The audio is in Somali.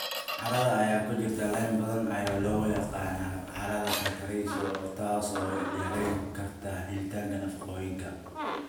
Carrada ay ku jiraan lime badan ayaa loo yaqaan carrada calcareous, taas oo yarayn karta helitaanka nafaqooyinka.